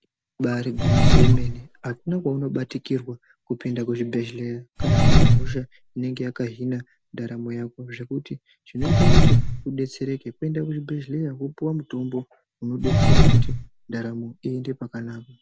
Ibari gwinyiso yemene akuna kwaunobatikirwa kupinda kuzvibhedhleya kana unehosha inenge yakahina ndaramo yako. Zvekuti zvinota kuti ubetsereke kwenda kuzvibhedhleya opuva mutombo unobetsera kuti ndaramo iende pakanaka.